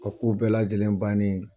Ka ko bɛɛ lajɛlen bannen ye